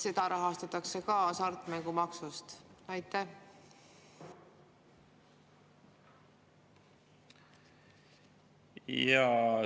Seda rahastatakse ka hasartmängumaksust.